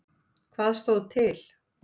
Hvað stóð til?